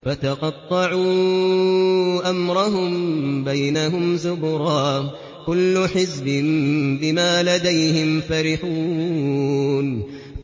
فَتَقَطَّعُوا أَمْرَهُم بَيْنَهُمْ زُبُرًا ۖ كُلُّ حِزْبٍ بِمَا لَدَيْهِمْ فَرِحُونَ